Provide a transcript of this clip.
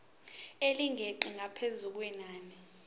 elingeqi ngaphezu kwenani